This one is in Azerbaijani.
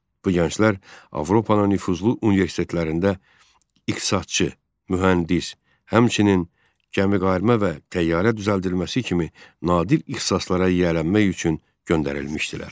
Bu gənclər Avropanın nüfuzlu universitetlərində iqtisadçı, mühəndis, həmçinin gəmiqayırma və təyyarə düzəldilməsi kimi nadir ixtisaslara yiyələnmək üçün göndərilmişdilər.